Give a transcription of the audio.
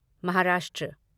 Maharashtra